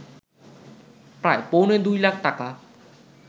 প্রায় পৌনে ২ লাখ টাকা